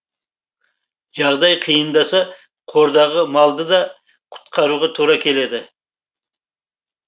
жағдай қиындаса қордағы малды да құтқаруға тура келеді